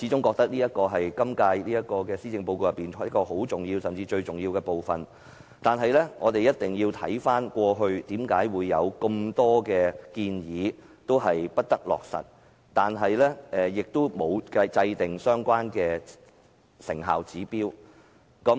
我認為這是施政報告最重要的部分，但我們必須回顧，為何過往有很多建議未能落實，政府也沒有制訂相關的成效指標？